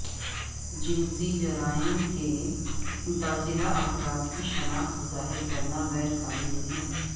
جنسی جرائم کے متاثرہ افراد کی شناخت ظاہر کرنا غیرقانونی ہے